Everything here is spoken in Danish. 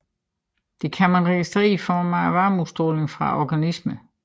Det kan man registrere i form af varmeudstråling fra organismerne